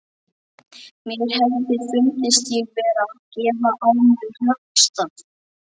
Mér hefði fundist ég vera að gefa á mér höggstað.